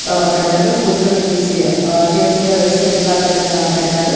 ఆ పెట్టారు కూర్చొనేకేసి ఆ చైర్స్ వేశారు రెడ్ కార్పెట్ న పెట్టారు.